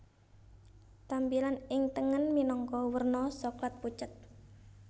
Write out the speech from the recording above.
Tampilan ing tengen minangka werna Soklat pucet